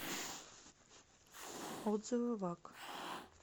отзывы ваг